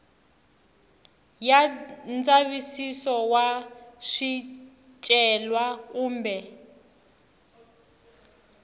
ya ndzavisiso wa swicelwa kumbe